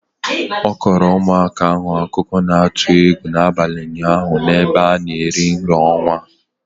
Ọ kọrọ ụmụaka ahụ akụkọ na-atụ egwu n'abalị ụnyaahụ n'ebe a na-eri nri ọnwa.